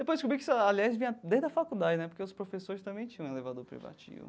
Depois descobri que isso, aliás, vinha desde a faculdade né, porque os professores também tinham elevador privativo.